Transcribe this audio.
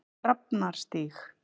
Drafnarstíg